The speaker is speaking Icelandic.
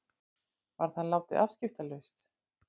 Var það látið afskiptalaust.